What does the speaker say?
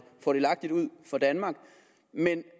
fordelagtigt ud for danmark men